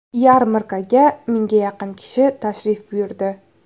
Yarmarkaga mingga yaqin kishi tashrif buyurdi.